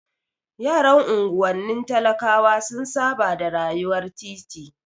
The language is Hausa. Yaran unguwanni talakawa sun saba da rayuwar titi.